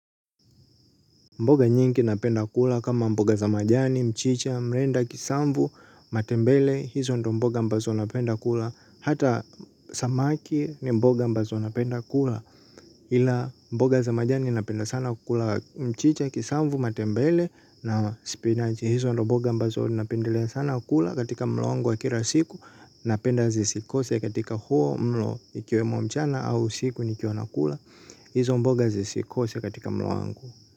Mboga nyingi napenda kula kama mboga za majani, mchicha, mrenda, kisamvu, matembele, hizo ndo mboga ambazo napenda kula, hata samaki ni mboga ambazo napenda kula. Ila mboga za majani napenda sana kula mchicha, kisamvu, matembele, na spinachi, hizo ndo mboga ambazo napendelea sana kula katika mlo wangu wa kila siku, napenda zisikose katika huo mlo ikiwemo mchana au usiku nikiwa nakula, hizo mboga zisikose katika mlo wangu.